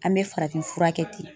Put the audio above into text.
An bɛ farafin fura kɛ ten.